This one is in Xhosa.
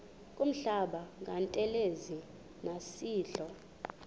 kuhlamba ngantelezi nasidlo